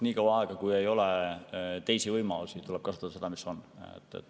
Nii kaua, kui ei ole teisi võimalusi, tuleb kasutada seda, mis on.